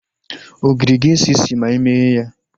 Ogiri ga-esi isi ma imeghe ya